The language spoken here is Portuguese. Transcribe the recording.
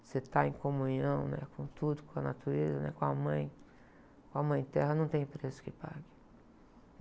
você estar em comunhão, né? Com tudo, com a natureza, né? Com a mãe, com a mãe terra, não tem preço que pague.